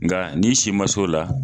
Nka n'i si ma se o la.